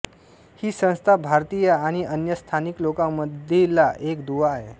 ही संस्था भारतीय आणि अन्य स्थानिक लोकांमधीला एक दुवा आहे